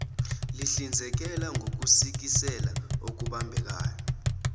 lihlinzekela ngokusikisela okubambekayo